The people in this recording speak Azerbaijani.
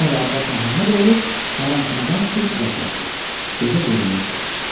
Sonra Abbas Məhəmmədoğlu hərəmxanadan çıxıb uzaqlaşdı, gözə görünməz oldu.